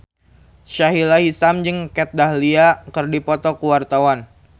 Sahila Hisyam jeung Kat Dahlia keur dipoto ku wartawan